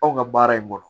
Anw ka baara in bolo